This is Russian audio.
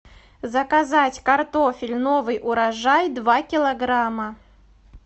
заказать картофель новый урожай два килограмма